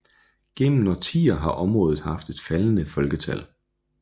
Gennem årtier har området haft et faldende folketal